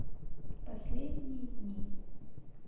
последние дни